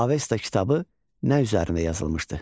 Avesta kitabı nə üzərində yazılmışdı?